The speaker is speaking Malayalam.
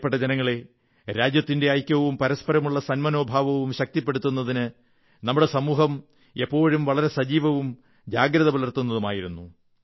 പ്രിയപ്പെട്ട ജനങ്ങളേ രാജ്യത്തിന്റെ ഐക്യവും പരസ്പരമുള്ള സന്മനോഭാവവും ശക്തിപ്പെടുത്തുന്നതിന് നമ്മുടെ സമൂഹം എപ്പോഴും വളരെ സജീവവും ജാഗ്രത പുലർത്തുന്നതുമായിരുന്നു